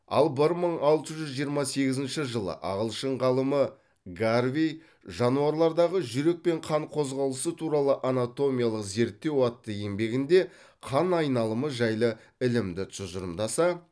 ал бір мың алты жүз жиырма сегізінші жылы ағылшын ғалымы гарвей жануарлардағы жүрек пен қан қозғалысы туралы анатомиялық зерттеу атты еңбегінде қан айналымы жайлы ілімді тұжырымдаса